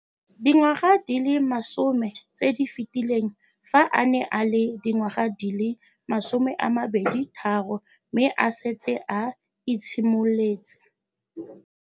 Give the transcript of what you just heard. Dingwaga di le 10 tse di fetileng, fa a ne a le dingwaga di le 23 mme a setse a itshimoletse.